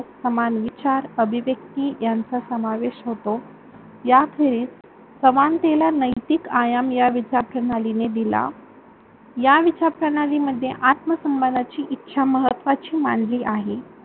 समान विचार, अभिव्यक्ती यांचा समावेश होतो. याचवेळी समानतेला नैतिक आयाम या विचार प्रणाली ने दिला. या विचार प्रणालीमध्ये आत्म सन्मानाची इच्छा महत्वाची मानली आहे.